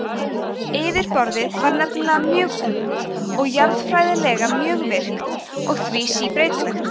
yfirborðið var nefnilega mjög ungt og jarðfræðilega mjög virkt og því síbreytilegt